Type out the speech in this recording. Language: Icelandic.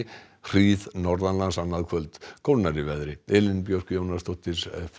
hríð norðanlands annað kvöld kólnar í veðri Elín Björk Jónasdóttir